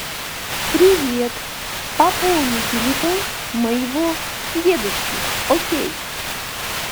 привет пополни телефон моего дедушки окей